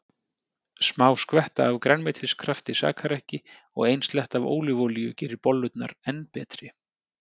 Smá skvetta af grænmetiskrafti sakar ekki og ein sletta af ólífuolíu gerir bollurnar enn betri.